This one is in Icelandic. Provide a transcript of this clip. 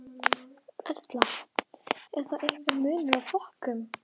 Erla: Er þá einhver munur á flokkum?